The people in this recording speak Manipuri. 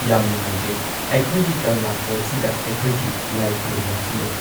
ꯌꯥꯝ ꯅꯨꯡꯉꯥꯏꯖꯩ ꯑꯩꯈꯣꯏꯒꯤ ꯀꯪꯂꯥ ꯐꯣꯔꯠꯁꯤꯗ ꯑꯩꯈꯣꯏꯒꯤ ꯂꯥꯏ ꯈꯨꯔꯨꯝꯕꯝꯁꯨ ꯂꯩ꯫